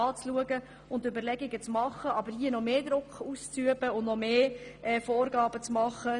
Wir können nicht unterstützen, dass man hier zusätzlichen Druck ausübt und noch mehr Vorgaben macht.